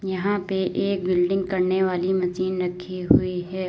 यहां पे एक बिल्डिंग करने वाली मशीन रखी हुई है।